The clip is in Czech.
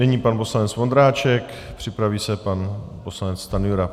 Nyní pan poslanec Vondráček, připraví se pan poslanec Stanjura.